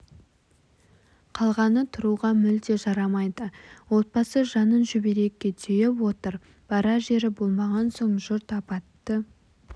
қалғаны тұруға мүлде жарамайды отбасы жанын шүберекке түйіп отыр барар жері болмаған соң жұрт апатты